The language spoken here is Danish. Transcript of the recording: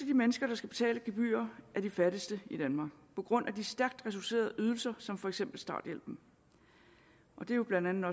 de mennesker der skal betale gebyr er de fattigste i danmark på grund af de stærkt reducerede ydelser som for eksempel starthjælpen og det er jo blandt andet